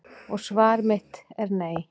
Og svar mitt er nei.